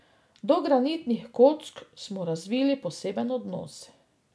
Do granitnih kock smo razvili poseben odnos.